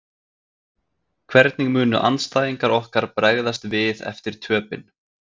Hvernig munu andstæðingar okkar bregðast við eftir töpin?